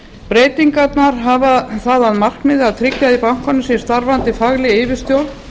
breytingarnar hafa það að markmiði að tryggja að í bankanum sé starfandi fagleg yfirstjórn